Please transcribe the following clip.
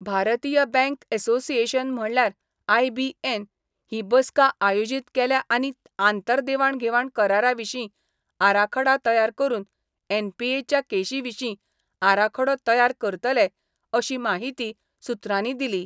भारतीय bank association म्हणल्यार IBN ही बसका आयोजीत केल्या आनी आंतर देवाण घेवाण करारा विशीं आराखडा तयार करून एनपीए च्या केशी विशीं आराखडो तयार करतले अशी माहिती सुत्रांनी दिली.